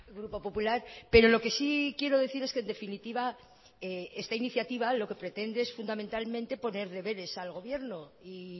grupo popular pero lo que sí quiero decir es que en definitiva esta iniciativa lo que pretende es fundamentalmente poner deberes al gobierno y